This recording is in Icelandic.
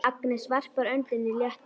Agnes varpar öndinni léttar.